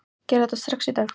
Gerðu þetta strax í dag!